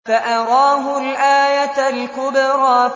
فَأَرَاهُ الْآيَةَ الْكُبْرَىٰ